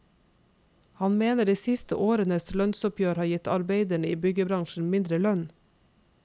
Han mener de siste årenes lønnsoppgjør har gitt arbeiderne i byggebransjen mindre lønn.